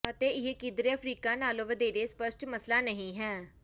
ਅਤੇ ਇਹ ਕਿਧਰੇ ਅਫਰੀਕਾ ਨਾਲੋਂ ਵਧੇਰੇ ਸਪਸ਼ਟ ਮਸਲਾ ਨਹੀਂ ਹੈ